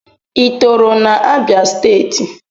Ị tọrọ na Abia steeti?